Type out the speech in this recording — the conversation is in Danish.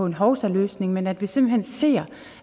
en hovsaløsning men at vi simpelt hen siger